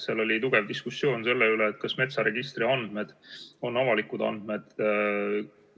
Seal oli tugev diskussioon selle üle, kas metsaregistri andmed on avalikud andmed.